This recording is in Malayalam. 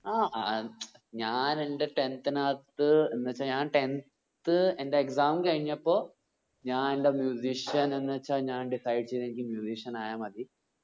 ആ ആഹ് മ്‌ചം ഞാൻ എന്റെ tenth നാത്ത് എന്ന വെച്ച ഞാൻ tenth എന്റെ exam കഴിഞ്ഞപ്പോ ഞാൻ എന്റെ ian എന്ന് വെച്ച ഞാൻ decide ചെയ്തെനിക്ക് ian ആയാമതി